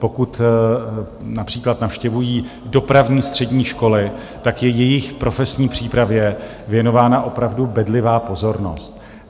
Pokud například navštěvují dopravní střední školy, tak je jejich profesní přípravě věnována opravdu bedlivá pozornost.